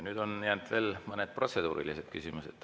Nüüd on jäänud veel mõned protseduurilised küsimused.